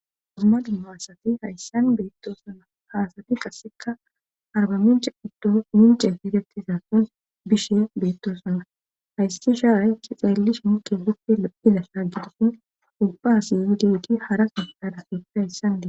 Hozuma dumma hasati hayssan beettoosana haasati qasseka arba mince uddo mince fereti sasson bishe beettosana haysi shaaay ki xaellish muke hippi e'iza shaagitosin ubbaasi yidti harasidadasoppe hayssan die.